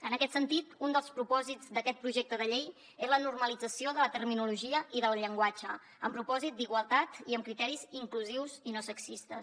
en aquest sentit un dels propòsits d’aquest projecte de llei és la normalització de la terminologia i del llenguatge amb propòsit d’igualtat i amb criteris inclusius i no sexistes